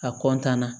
A kɔntanna